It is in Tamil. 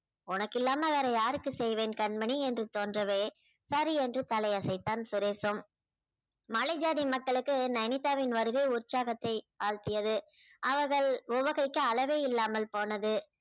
உனக்கு இல்லாம வேற யாருக்கு செய்வேன் கண்மணி என்று தோன்றவே சரி என்று தலை அசைத்தான் சுரேஷும் மலை ஜாதி மக்களுக்கு நைனிதாவின் வருகை உற்சாகத்தை ஆழ்த்தியது அவர்கள் உவகைக்கு அளவே இல்லாமல் போனது